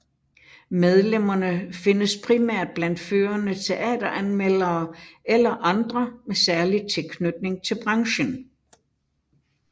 Medlemmerne findes primært blandt førende teateranmeldere eller andre med særlig tilknytning til branchen